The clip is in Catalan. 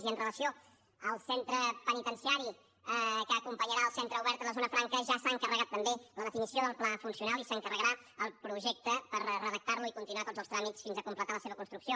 i amb relació al centre penitenciari que acompanyarà el centre obert a la zona franca ja s’ha encarregat també la definició del pla funcional i s’encarregarà el projecte per reredactar lo i continuar tots els tràmits fins a completar la seva construcció